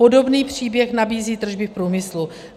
Podobný příběh nabízí tržby v průmyslu.